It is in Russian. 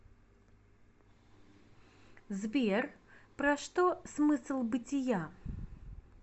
сбер про что смысл бытия